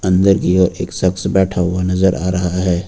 अंदर की ओर एक शख्स बैठा हुआ नजर आ रहा है।